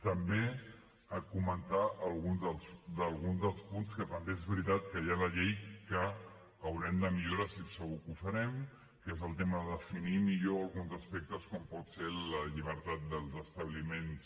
també comentar alguns dels punts que també és veritat que hi ha a la llei que haurem de millorar estic segur que ho farem que és el tema de definir millor alguns aspectes com pot ser la llibertat dels establiments